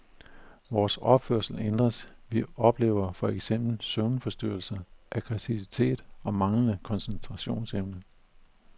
Vores opførsel ændres, vi oplever for eksempel søvnforstyrrelser, aggressivitet og manglende koncentrationsevne.